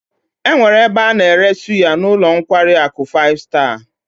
E nwere ebe a na-ere anu suya n'ulo nkwari aku five star